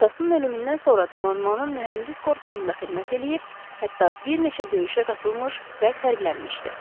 Atasının ölümündən sonra donanmanın mühəndis korpusunda xidmət eləyib, hətta bir neçə döyüşə qatılmış və fərqlənmişdi.